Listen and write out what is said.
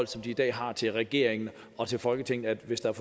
som de i dag har til regeringen og til folketinget at hvis der